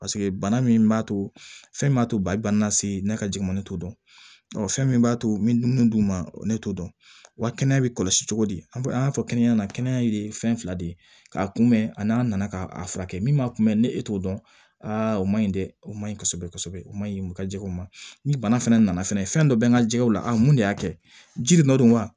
Paseke bana min b'a to fɛn m'a to balibana na se ne ka jiginni t'o dɔn fɛn min b'a to n bɛ mun d'u ma ne t'o dɔn wa kɛnɛya bɛ kɔlɔsi cogo di an y'a fɔ kɛnɛya na kɛnɛya de ye fɛn fila de ye k'a kunbɛn ani n'an nana ka a furakɛ min ma kunbɛ ni e t'o dɔn o ma ɲi dɛ o ma ɲi kosɛbɛ kosɛbɛ o ma ɲi u ka jɛgɛw ma ni bana fɛnɛ nana fɛnɛ fɛn dɔ bɛ n ka jɛgɛw la mun de y'a kɛ ji de nɔ don wa